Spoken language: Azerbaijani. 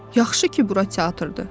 Yaxşı ki, bura teatrdır.